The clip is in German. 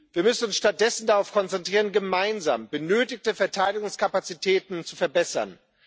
Wir müssen uns stattdessen darauf konzentrieren, gemeinsam benötigte Verteidigungskapazitäten zu verbessern.